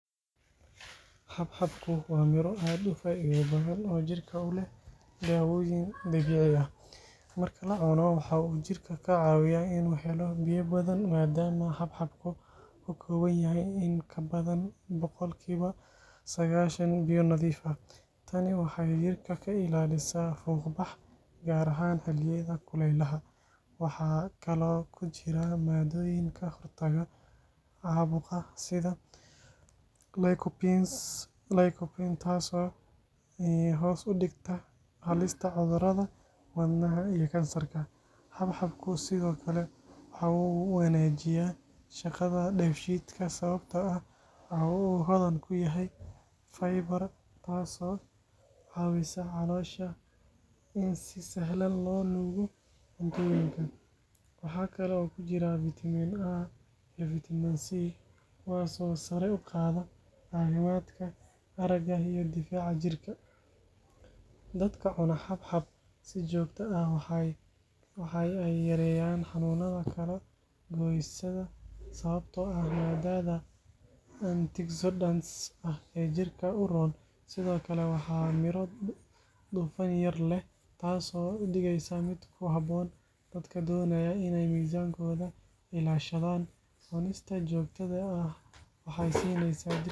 Xabxabku waa miro aad u faa’iido badan oo jirka u leh daawooyin dabiici ah. Marka la cuno, waxa uu jirka ka caawiyaa in uu helo biyo badan maadaama xabxabku ka kooban yahay in ka badan boqolkiiba sagaashan biyo nadiif ah. Tani waxay jirka ka ilaalisaa fuuq-bax, gaar ahaan xilliyada kulaylaha. Waxaa kaloo ku jira maadooyin ka hortaga caabuqa sida lycopene, taasoo hoos u dhigta halista cudurrada wadnaha iyo kansarka. Xabxabku sidoo kale waxa uu wanaajiyaa shaqada dheef-shiidka sababtoo ah waxa uu hodan ku yahay fiber, taasoo caawisa caloosha in si sahlan loo nuugo cuntooyinka. Waxa kale oo ku jira vitamin A iyo vitamin C, kuwaas oo sare u qaada caafimaadka aragga iyo difaaca jirka. Dadka cuna xabxab si joogto ah waxa ay yareeyaan xanuunada kala-goysyada sababtoo ah maadada antioxidants ah ee jirka u roon. Sidoo kale, waa miro dufan yar leh, taasoo ka dhigaysa mid ku habboon dadka doonaya inay miisaankooda ilaashadaan. Cunistiisa joogtada ah waxay siinaysaa jirka tamar.